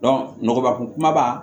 nɔgɔba kun kumaba